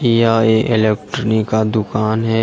यह एक इलेक्ट्रानी का दुकान है।